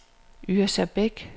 Yrsa Beck